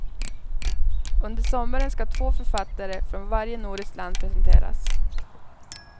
Under sommaren ska två författare från varje nordiskt land presenteras.